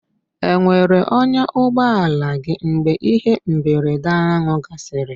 E nwere ọnyà n'ụgbọala gị mgbe ihe mberede ahụ gasịrị?